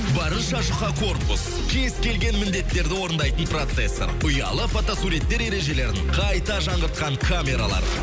барынша жұқа корпус кез келген міндеттерді орындайтын процессор ұялы фото суреттер ережелерін қайта жаңғыртқан камералар